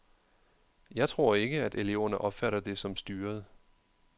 Jeg tror ikke, at eleverne opfatter det som styret.